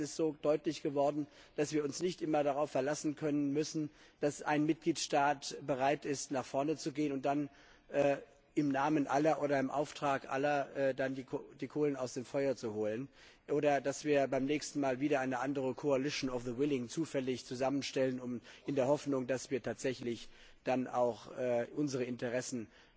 Es ist deutlich geworden, dass wir uns nicht immer darauf verlassen dürfen, dass ein Mitgliedstaat bereit ist, nach vorne zu gehen und dann im Namen oder im Auftrag aller die Kohlen aus dem Feuer zu holen, oder dass wir beim nächsten Mal wieder eine andere Koalition der Willigen zufällig zusammenstellen, in der Hoffnung, dass wir tatsächlich dann auch unsere Interessen